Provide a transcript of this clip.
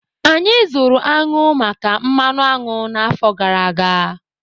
Anyị zụrụ añụ maka mmanụ añụ n'afọ gara aga